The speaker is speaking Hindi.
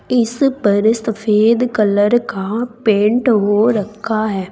इस पर सफेद कलर का पेंट हो रखा है।